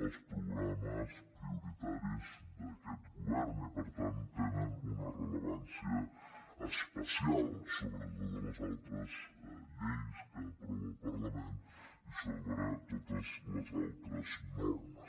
els programes prioritaris d’aquest govern i per tant té una rellevància especial sobre totes les altres lleis que aprova el parlament i sobre totes les altres normes